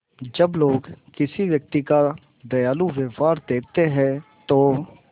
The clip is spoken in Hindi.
जब लोग किसी व्यक्ति का दयालु व्यवहार देखते हैं तो